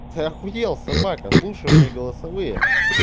ты ахуел собака слушай мои голосовые